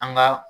An ga